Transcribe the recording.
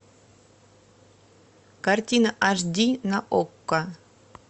картина аш ди на окко